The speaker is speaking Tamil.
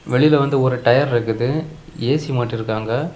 வெளியில வந்து ஒரு டயர் இருக்குது. ஏ_சி மாட்டிருக்காங்க.